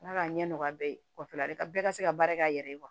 Ala k'a ɲɛ nɔgɔya bɛɛ ye kɔfɛla bɛɛ ka se ka baara k'a yɛrɛ ye